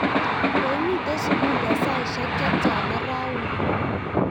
koimite sukul eng' saisiek che tyana rauni?